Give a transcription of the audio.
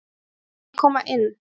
Má ég koma inn?